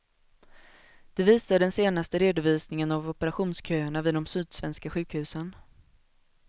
Det visar den senaste redovisningen av operationsköerna vid de sydsvenska sjukhusen.